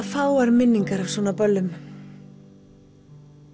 fáar minningar af svona böllum